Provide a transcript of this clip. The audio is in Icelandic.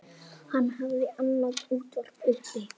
Hann hafði annað útvarp uppi.